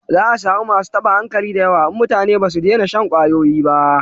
Za a samu masu taba hankali da yawa in mutane ba su dena shan kwayoyi ba